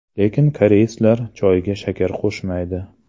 Lekin koreyslar choyga shakar qo‘shmaydi.